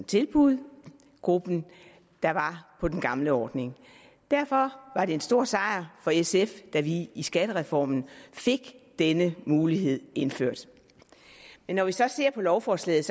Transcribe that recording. tilbud gruppen der var på den gamle ordning derfor var det en stor sejr for sf da vi i skattereformen fik denne mulighed indført men når vi så ser på lovforslaget